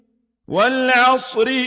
وَالْعَصْرِ